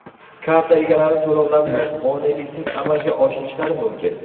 Karta egalari to‘lovlarni moneliksiz amalga oshirishlari mumkin.